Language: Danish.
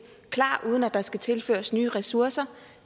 klar uden at der skal tilføres nye ressourcer